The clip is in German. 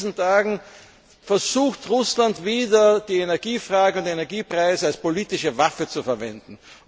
Gerade in diesen Tagen versucht Russland wieder, die Energiefrage und die Energiepreise als politische Waffe zu verwenden.